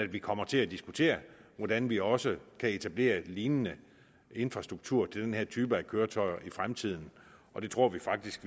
vi kommer til at diskutere hvordan vi også kan etablere en lignende infrastruktur til den her type af køretøjer i fremtiden det tror vi faktisk